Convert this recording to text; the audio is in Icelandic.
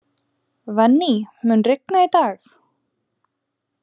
Venný, mun rigna í dag?